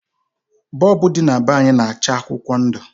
Bọlbụ dị na be anyị na-acha akwụkwọ ndụ